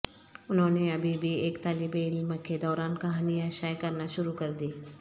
انہوں نے ابھی بھی ایک طالب علم کے دوران کہانیاں شائع کرنا شروع کردی